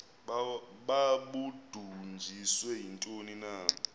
babudunjiswe yintoni na